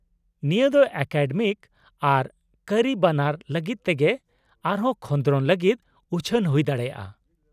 - ᱱᱤᱭᱟᱹ ᱫᱚ ᱮᱠᱟᱰᱮᱢᱤᱠ ᱟᱨ ᱠᱟᱹᱨᱤ ᱵᱟᱱᱟᱨ ᱞᱟᱹᱜᱤᱫ ᱛᱮᱜᱮ ᱟᱨᱦᱚᱸ ᱠᱷᱚᱸᱫᱨᱚᱱ ᱞᱟᱹᱜᱤᱫ ᱩᱪᱷᱟᱹᱱ ᱦᱩᱭ ᱫᱟᱲᱮᱭᱟᱜᱼᱟ ᱾